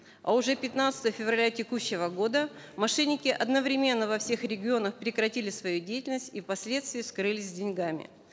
а уже пятнадцатого февраля текущего года мошенники одновременно во всех регионах прекратили свою деятельность и впоследствии скрылись с деньгами